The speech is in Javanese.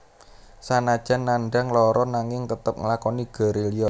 Sanajan nandhang lara nanging tetep nglakoni gerilya